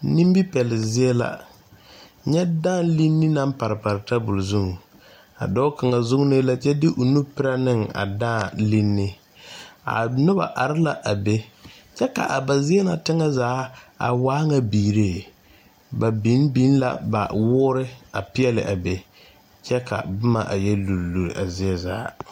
Nimi pɛlzie la nyɛ dãã leni naŋ pare pare tabol zuiŋ dɔɔ kaŋa vuunii la kyɛ de nu pirɛ ne a dãã leni a noba are la a be kyɛ ka a zie na tɛni zaa waa nyɛ biiree ba biŋ biŋ la ba woori a peɛli a be ka boma yɛ luri luri zie zaa.